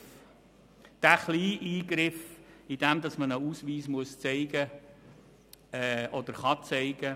Es ist ein kleiner Eingriff, wenn jemand einen Ausweis zeigen muss oder kann.